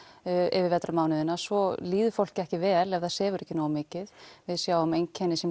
yfir vetrarmánuðina svo líður fólki ekki vel ef það sefur ekki nógu mikið við sjáum einkenni sem